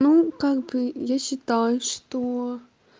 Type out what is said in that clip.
ну как бы я считаю что